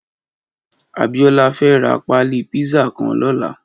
Abiola fè rà pàlí pizza kàn lòlá